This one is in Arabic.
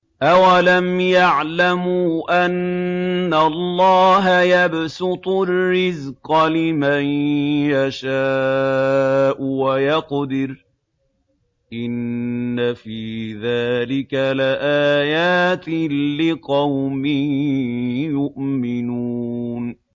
أَوَلَمْ يَعْلَمُوا أَنَّ اللَّهَ يَبْسُطُ الرِّزْقَ لِمَن يَشَاءُ وَيَقْدِرُ ۚ إِنَّ فِي ذَٰلِكَ لَآيَاتٍ لِّقَوْمٍ يُؤْمِنُونَ